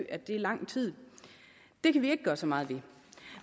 at det er lang tid det kan vi ikke gøre så meget ved